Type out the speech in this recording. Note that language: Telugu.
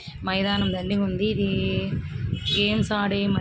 మైదానంలోని ఉంది. ఇది గేమ్స్ ఆడే మై--